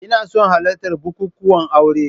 Ina son halartar bukukuwan aure